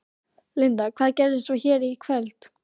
Linda: Hvað gerist svo hér í kvöld?